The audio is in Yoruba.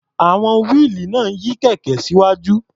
À̀wọn wíìlì náà ń yí kẹ̀kẹ́ síwájú.